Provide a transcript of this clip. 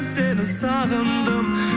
сені сағындым